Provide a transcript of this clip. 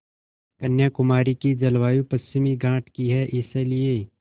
कन्याकुमारी की जलवायु पश्चिमी घाट की है इसलिए